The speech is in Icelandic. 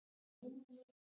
Hann á ekki til orð.